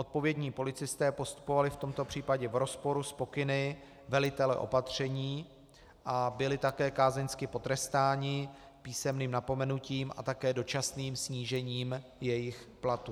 Odpovědní policisté postupovali v tomto případě v rozporu s pokyny velitele opatření a byli také kázeňsky potrestáni písemným napomenutím a také dočasným snížením jejich platu.